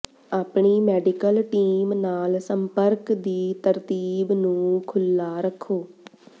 ਆਪਣੀ medical team ਨਾਲ ਸੰਪਰਕ ਦੀ ਤਰਤੀਬ ਨੂੰ ਖੁੱਲ੍ਹਾ ਰੱਖੋ